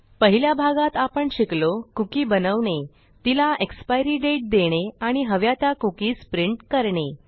पहिल्या भागात आपण शिकलो कुकी बनवणे तिला एक्सपायरी दाते देणे आणि हव्या त्या कुकीज प्रिंट करणे